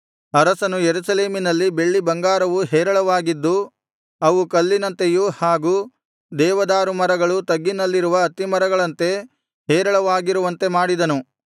ಅರಸನು ಯೆರೂಸಲೇಮಿನಲ್ಲಿ ಬೆಳ್ಳಿ ಬಂಗಾರವು ಹೇರಳವಾಗಿದ್ದು ಅವು ಕಲ್ಲಿನಂತೆಯೂ ಹಾಗು ದೇವದಾರು ಮರಗಳು ತಗ್ಗಿನಲ್ಲಿರುವ ಅತ್ತಿಮರಗಳಂತೆ ಹೇರಳವಾಗಿರುವಂತೆ ಮಾಡಿದನು